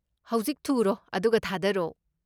ꯍꯧꯖꯤꯛ ꯊꯨꯔꯣ ꯑꯗꯨꯒ ꯊꯥꯗꯔꯣ꯫